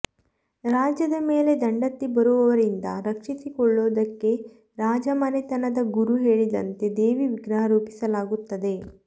ರಾಜ್ಯದ ಮೇಲೆ ದಂಡೆತ್ತಿ ಬರುವವರಿಂದ ರಕ್ಷಿಸಿಕೊಳ್ಳುವುದಕ್ಕೆ ರಾಜಮನೆತನದ ಗುರು ಹೇಳಿದಂತೆ ದೇವಿ ವಿಗ್ರಹ ರೂಪಿಸಲಾಗುತ್ತದೆ